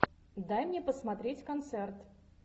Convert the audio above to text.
дай мне посмотреть концерт